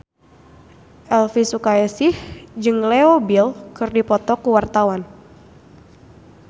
Elvi Sukaesih jeung Leo Bill keur dipoto ku wartawan